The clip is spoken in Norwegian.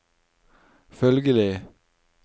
følgelig